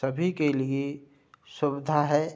सभी के लिए सुविधा है।